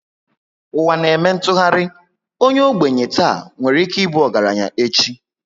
Ụwa na eme ntụgharị, onye ogbenye tà nwere ike ịbụ ọgaranya echi